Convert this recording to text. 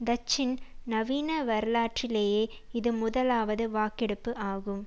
டச்சின் நவீன வரலாற்றிலேயே இது முதலாவது வாக்கெடுப்பு ஆகும்